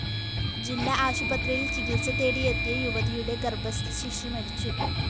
ജില്ലാ ആശുപത്രിയില്‍ ചികിത്സ തേടിയെത്തിയ യുവതിയുടെ ഗര്‍ഭസ്ഥ ശിശു മരിച്ചു